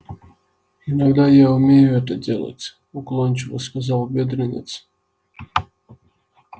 иногда я умею это делать уклончиво сказал бедренец